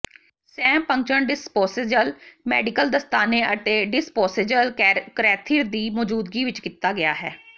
ਸੈਮ puncture disposable medical ਦਸਤਾਨੇ ਅਤੇ disposable catheter ਦੀ ਮੌਜੂਦਗੀ ਵਿਚ ਕੀਤਾ ਗਿਆ ਹੈ